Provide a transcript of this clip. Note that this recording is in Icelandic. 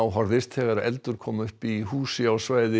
horfðist þegar eldur kom upp í húsi á svæði